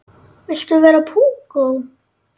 Viltu vera púkó?